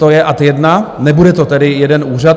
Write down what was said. To je ad jedna, nebude to tedy jeden úřad.